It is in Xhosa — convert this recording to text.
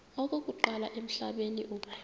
okokuqala emhlabeni uba